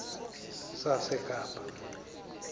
sasekapa